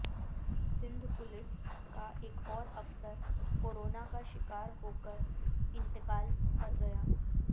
Sindh police کا ایک اور افسر کورونا کا شکار ہو کر انتقال کرگیا